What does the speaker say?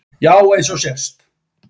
Já eins og sést.